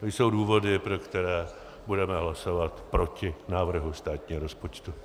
To jsou důvody, pro které budeme hlasovat proti návrhu státního rozpočtu.